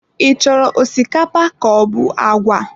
I chọrọ osikapa kaobu agwa?